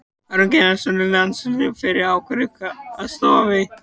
Aron Einar Gunnarsson, landsliðsfyrirliði, hefur ákveðið að snoða sig.